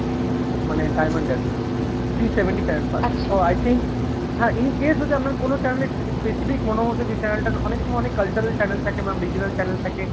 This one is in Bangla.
মানে diamond এ আর কি three seventy channel পাচ্ছেন so I think হ্যাঁ in case যদি আপনার কোনো channel এ specific মনে হচ্ছে যে channel টার অনেক সময় অনেক cultural channel থাকে ma'am regional channel থাকে,